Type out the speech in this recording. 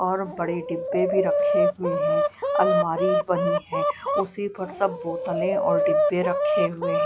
और बड़ी डिब्बे भी रखे हुए हैं अलमारी बनी है उसी पर सब बोतले और डीब्बे रखे हुए--